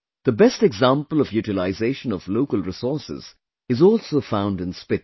The best example of utilization of local resources is also found in Spiti